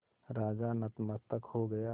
राजा नतमस्तक हो गया